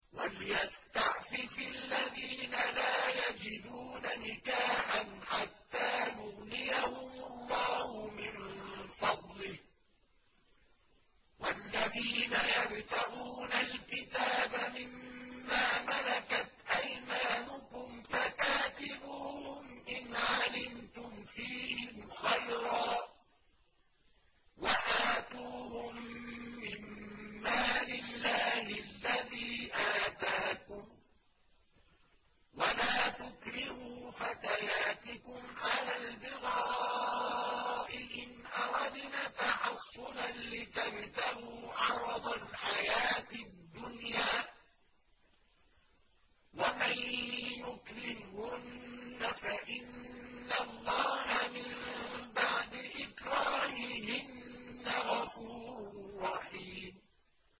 وَلْيَسْتَعْفِفِ الَّذِينَ لَا يَجِدُونَ نِكَاحًا حَتَّىٰ يُغْنِيَهُمُ اللَّهُ مِن فَضْلِهِ ۗ وَالَّذِينَ يَبْتَغُونَ الْكِتَابَ مِمَّا مَلَكَتْ أَيْمَانُكُمْ فَكَاتِبُوهُمْ إِنْ عَلِمْتُمْ فِيهِمْ خَيْرًا ۖ وَآتُوهُم مِّن مَّالِ اللَّهِ الَّذِي آتَاكُمْ ۚ وَلَا تُكْرِهُوا فَتَيَاتِكُمْ عَلَى الْبِغَاءِ إِنْ أَرَدْنَ تَحَصُّنًا لِّتَبْتَغُوا عَرَضَ الْحَيَاةِ الدُّنْيَا ۚ وَمَن يُكْرِههُّنَّ فَإِنَّ اللَّهَ مِن بَعْدِ إِكْرَاهِهِنَّ غَفُورٌ رَّحِيمٌ